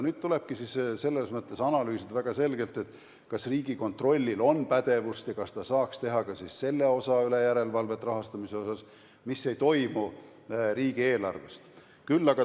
Nüüd tulebki analüüsida väga selgelt, kas Riigikontrollil on pädevust ja kas ta saaks teha järelevalvet ka rahastamise selle osa üle, mis ei toimu riigieelarvest.